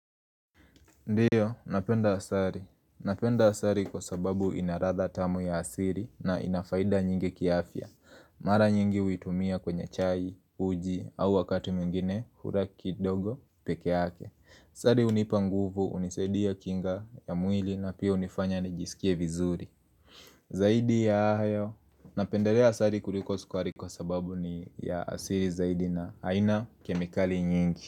Ndiyo, napenda asari. Napenda asari kwa sababu inaratha tamu ya asiri na inafaida nyingi kiafya. Mara nyingi huitumia kwenye chai, uji au wakati mwingine hura kidogo peke yake. Asari unipa nguvu, unisadia kinga ya mwili na pia unifanya nijisikie vizuri. Zaidi ya hayo. Napenderea asari kuliko skwari kwa sababu ni ya asiri zaidi na haina kemikali nyingi.